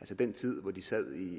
altså den tid hvor de sad